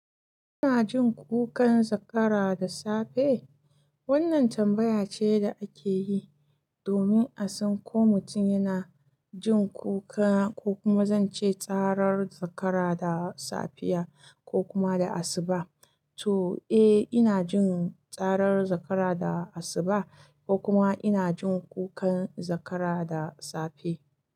Ina jin kukan zakara da safe? Wannan tambaya ce da ake yi domin a san ko mutum yana jin kuka ko kuma zan ce tsarar zakara da safiya ko kuma da asuba. To, eh ina jin tsarar zakara da asuba ko kuma ina jin kukan zakara da safe.